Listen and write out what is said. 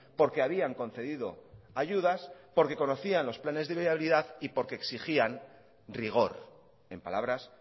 porque habían concedido ayudas porque conocían los planes de viabilidad y porque exigían rigor en palabras